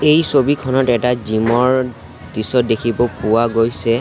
এই ছবিখনত এটা জিম ৰ দৃশ্য দেখিব পোৱা গৈছে।